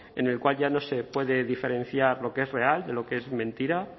en el cual ya no se puede diferenciar lo que es real de lo que es mentira